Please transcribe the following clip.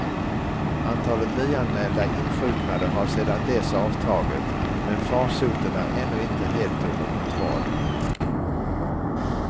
Antalet nyanmälda insjuknade har sedan dess avtagit, men farsoten är ännu inte helt under kontroll.